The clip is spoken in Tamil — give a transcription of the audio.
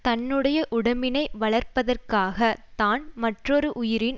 தன்னுடைய உடம்பினை வளர்ப்பதற்காக தான் மற்றொரு உயிரின்